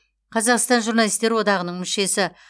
қазақстан журналистер одағының мүшесі